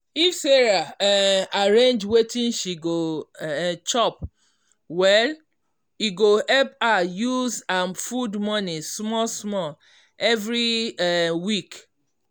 if sarah um arrange wetin she go um chop well e go help her use her food money small small every um week.